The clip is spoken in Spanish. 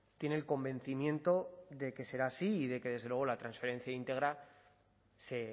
tiene el convencimiento de que será así y de que desde luego la transferencia íntegra se